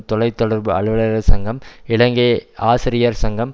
தொலை தொடர்பு அலுவலர்கள் சங்கம் இலங்கை ஆசிரியர் சங்கம்